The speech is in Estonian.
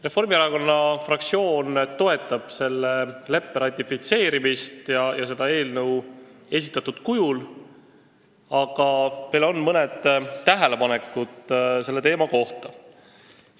Reformierakonna fraktsioon toetab selle leppe ratifitseerimist ja seda eelnõu esitatud kujul, aga meil on mõned tähelepanekud selle teema kohta.